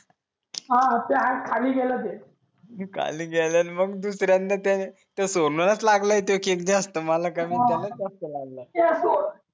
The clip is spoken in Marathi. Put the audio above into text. ह ते आज खाली गेल ते खाली गेल मग दुसर्यांदा काय ते सोनच लागल ते केक जास्त मला